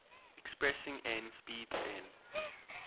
expressing n speeds n